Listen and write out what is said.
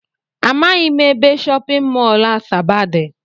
Amaghị m ebe shọpịn mọl Asaba dị